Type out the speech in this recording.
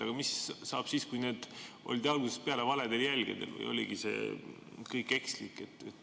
Aga mis saab siis, kui algusest peale oldi valedel jälgedel ja see kõik oligi ekslik?